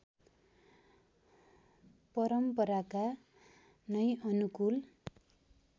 परम्पराका नै अनुकूल